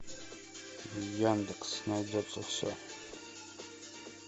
яндекс найдется все